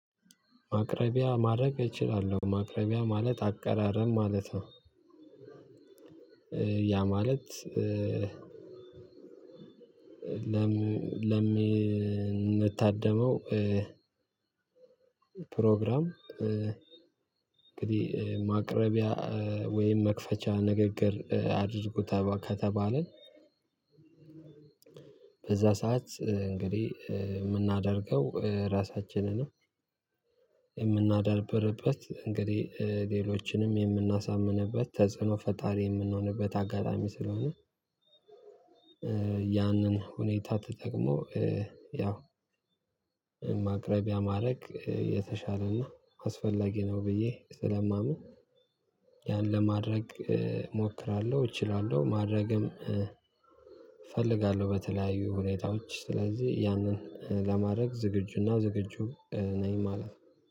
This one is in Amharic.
ማቅረቢያ ማድረግ እችላለሁ ማቅረቢያ ማለት አቀራረብ ማለት ነው። ያ ማለት ለምንታደመው ፕሮግራም እንግዲህ ማቅረቢያ ወይም መክፈቻ ንግግር አድርጉ ከተባለ። በዛ ሰዓት እንግዲህ የምናደርገው ራሳችንን የምናደርብርበት እንግዲህ ሌሎችንም የምናሳምንበት ተጽዕኖ ፈጣሪ የምንሆንበት አጋጣሚ ስለሆነ። ያንን ሁኔታ ተጠቅሞ ያው ማቅረቢያ ማድረግ የተሻለና አስፈላጊ ነው። ብዬ ስለማምን ያን ለማድረግ እሞክራለሁ እችላለሁ ማድረግም እፈልጋለሁ። በተለያዩ ሁኔታዎች ስለዚህ ያንን ለማድረግ ዝግጁና ዝግጁ ነኝ ማለት ነው።